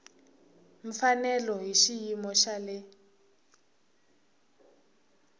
mfanelo hi xiyimo xa le